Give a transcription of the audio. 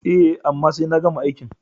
E, amma sai na gama aikin.